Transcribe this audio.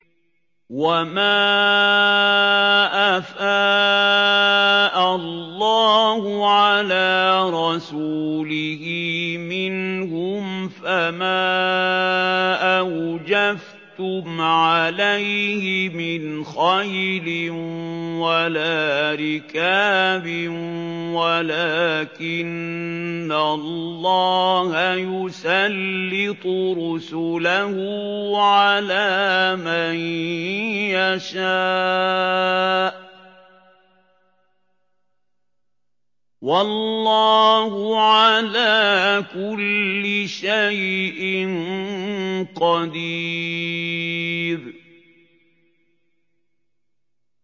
وَمَا أَفَاءَ اللَّهُ عَلَىٰ رَسُولِهِ مِنْهُمْ فَمَا أَوْجَفْتُمْ عَلَيْهِ مِنْ خَيْلٍ وَلَا رِكَابٍ وَلَٰكِنَّ اللَّهَ يُسَلِّطُ رُسُلَهُ عَلَىٰ مَن يَشَاءُ ۚ وَاللَّهُ عَلَىٰ كُلِّ شَيْءٍ قَدِيرٌ